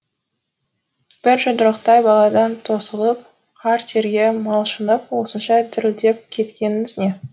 бір жұдырықтай баладан тосылып қара терге малшынып осынша дірілдеп кеткеніңіз не